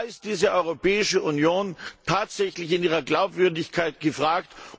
Da ist diese Europäische Union tatsächlich in ihrer Glaubwürdigkeit gefragt.